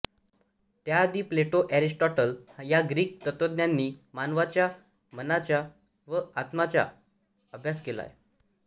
त्याआधी Plato Aristotle या Greek तत्त्वज्ञांनी मानवाच्या मनाचा व आत्त्म्याचा आभ्यास केला आहे